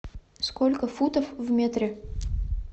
сколько футов в метре